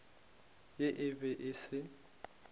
ge e be e se